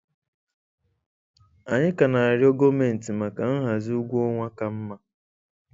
Anyị ka na-arịọ Gọọmenti maka nhazi ụgwọ ọnwa ka mma.